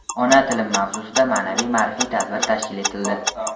Ona tilim mavzusida ma’naviy-ma’rifiy tadbir tashkil etildi.